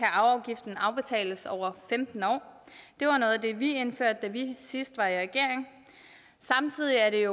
arveafgiften afbetales over femten år det var noget af det vi indførte da vi sidst var i regering samtidig er det